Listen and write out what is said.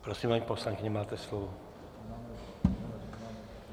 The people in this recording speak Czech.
Prosím, paní poslankyně, máte slovo.